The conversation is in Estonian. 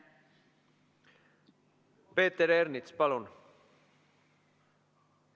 Peeter Ernits, palun!